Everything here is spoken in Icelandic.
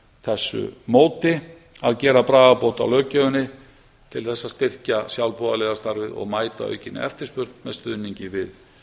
þessu móti að gera bragarbót á löggjöfinni til að styrkja sjálfboðaliðastarfið og mæta aukinni eftirspurn með stuðningi við